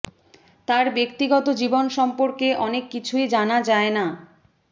তার ব্যক্তিগত জীবন সম্পর্কে অনেক কিছুই জানা যায় না